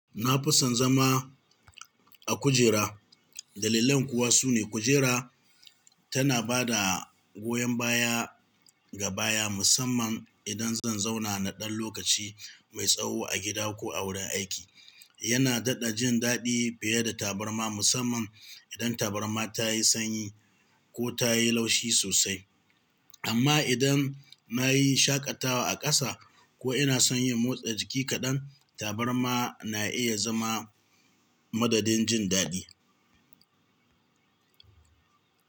Na fi son zama a kujera. Dalillan kuwa su ne kujera tana bada goyon baya ga baya, musamman idan zan zauna na ɗan lokaci mai tsawo a gida ko a wurin aiki. Yana daɗa jin daɗi fiye da tabarma, musamman idan tabarma ta yi sanyi ko ta yi laushi sosai. Amma idan na yi shaƙatawa a ƙasa ko inason yin motsa jiki kaɗan, tabarma na iya zama madadin jindaɗi.